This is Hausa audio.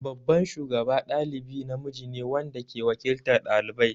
Babban shugaba ɗalibi namiji ne wanda ke waƙiltar ɗalibai.